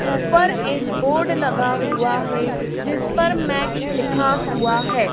ऊपर एक बोर्ड लगा हुआ है जिसपर मॅक लिखा हुआ है।